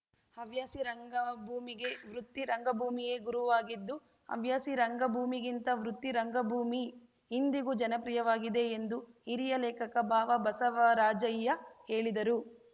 ಹವ್ಯಾಸಿ ರಂಗಭೂಮಿಗೆ ವೃತ್ತಿ ರಂಗಭೂಮಿಯೇ ಗುರುವಾಗಿದ್ದು ಹವ್ಯಾಸಿ ರಂಗಭೂಮಿಗಿಂತ ವೃತ್ತಿ ರಂಗಭೂಮಿ ಇಂದಿಗೂ ಜನಪ್ರಿಯವಾಗಿದೆ ಎಂದು ಹಿರಿಯ ಲೇಖಕ ಬಾವಬಸವರಾಜಯ್ಯ ಹೇಳಿದರು